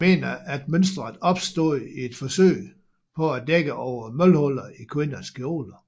Nogle mener at mønstret opstod i et forsøg på at dække over mølhuller i kvinders kjole